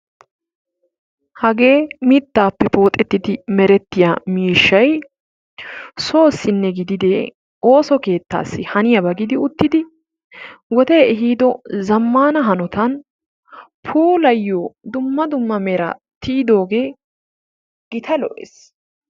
Hagee mittappe pooxettidi merettiya miishshay soossi gidide ooso keettassi haniyaaba gidi uttidi wode ehiido zammana hanotan puulayiyo dumma dumma meraa tiyidooge gita lo''ees.